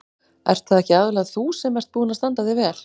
Ert það ekki aðallega þú sem ert búin að standa þig vel?